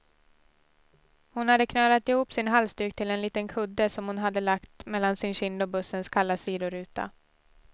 Hon hade knölat ihop sin halsduk till en liten kudde, som hon hade lagt mellan sin kind och bussens kalla sidoruta.